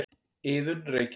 Iðunn, Reykjavík.